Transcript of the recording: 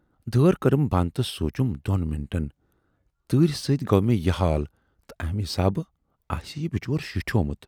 دٲر کٔرٕم بَند تہٕ سونچُم دۅن مِنٹن تۭرِ سۭتۍ گوٚو مےٚ یہِ حال تہٕ امہِ حِسابہٕ آسہِ یہِ بِچارٕ شِٹھیومُت۔